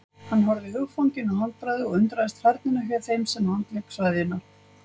Hann horfði hugfanginn á handbragðið og undraðist færnina hjá þeim sem handlék sveðjuna.